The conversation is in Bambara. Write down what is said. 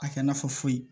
A kɛ i n'a fɔ foyi